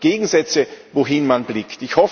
Also Gegensätze wohin man blickt.